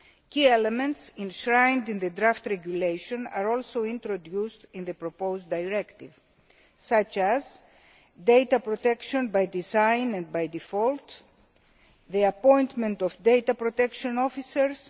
Key elements enshrined in the draft regulation are also introduced in the proposed directive, such as data protection by design and by default the appointment of data protection officers